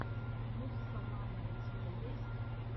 муссомано у тебя есть